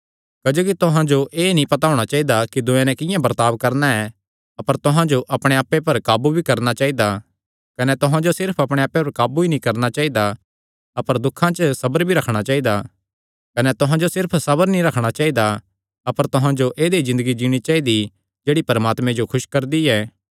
क्जोकि तुहां जो एह़ नीं पता होणा चाइदा कि दूयेयां नैं किंआं बर्ताब करणा ऐ अपर तुहां जो अपणे आप्पे पर काबू भी करणा चाइदा कने तुहां जो सिर्फ अपणे आप्पे पर काबू ई नीं करणा चाइदा अपर दुखां च सबर भी रखणा चाइदा कने तुहां जो सिर्फ सबर ई नीं रखणा चाइदा अपर तुहां जो ऐदई ज़िन्दगी जीणा चाइदी जेह्ड़ी परमात्मे जो खुस करदी ऐ